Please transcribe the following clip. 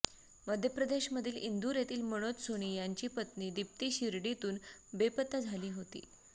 मध्यप्रदेशमधील इंदूर येथील मनोज सोनी यांची पत्नी दिप्ती शिर्डीतून बेपत्ता झाली होती